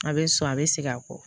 A bɛ so a bɛ segin a kɔ